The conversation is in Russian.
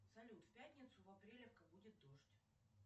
салют в пятницу в апрелевка будет дождь